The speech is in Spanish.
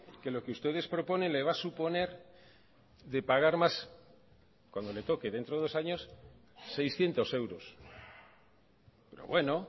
que lo que ustedes proponen le va a suponer de pagar más cuando le toque dentro de dos años seiscientos euros pero bueno